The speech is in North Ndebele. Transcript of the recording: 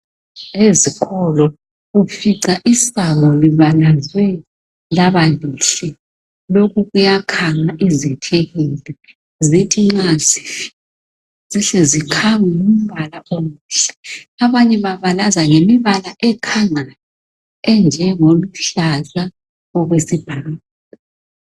ezikolo ufica isango libhalwe labalihle lokho kuyakhanga izithekele zithi mazidlula zihle zikhangwe yimbala emihle abanye babalaza ngemibala ekhangayo enje ngeluhlaza okwesibhakabhaka